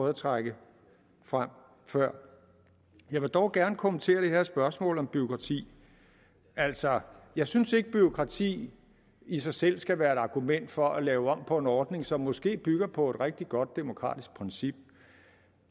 at trække frem før jeg vil dog gerne kommentere spørgsmålet om bureaukrati altså jeg synes ikke at bureaukrati i sig selv skal være et argument for at lave om på en ordning som måske bygger på et rigtig godt demokratisk princip